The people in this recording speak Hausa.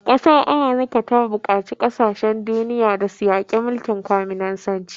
Amurka ta buƙaci kasashen duniya da su yaƙi mulkin kwaminisanci.